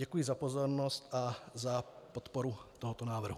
Děkuji za pozornost a za podporu tohoto návrhu.